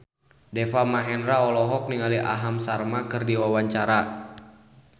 Deva Mahendra olohok ningali Aham Sharma keur diwawancara